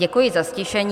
Děkuji za ztišení.